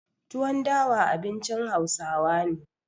Tuwon dawa abincin Hausawa ne.